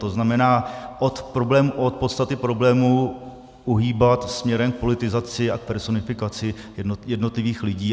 To znamená, od podstaty problémů uhýbat směrem k politizaci a k personifikaci jednotlivých lidí.